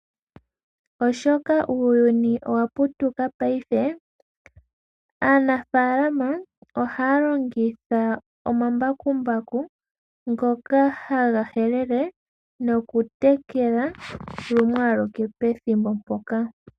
Oshoka uuyuni owa putuka paife, aanafaalama ohaya longitha omambakumbaku ngoka haga helele nokutekela lumwe aluke pethimbo mpoka.